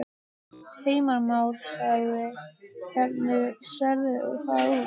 Heimir Már: Hvernig sérðu það út?